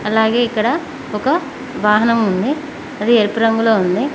అలాగే ఇక్కడ ఒక వాహనం ఉంది అది ఎరుపు రంగులో ఉంది.